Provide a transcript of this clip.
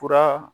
Fura